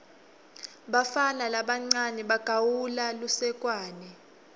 bafana labancawe bagawula lusekwane